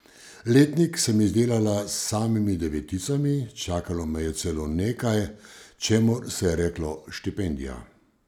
Letnik sem izdelala s samimi deveticami, čakalo me je celo nekaj, čemur se je reklo štipendija.